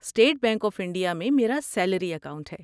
State Bank of India میں میرا salary account ہے۔